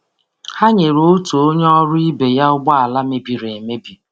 Ha nyere onye ọrụ ibe ha ọrụ ibe ha njem mgbe ụgbọ ala ya mebiri.